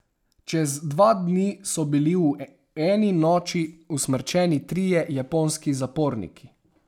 Čez dva dni so bili v eni noči usmrčeni trije japonski zaporniki.